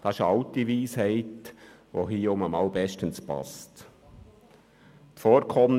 Diese alte Weisheit passt wieder ein- mal bestens zu unserem Thema.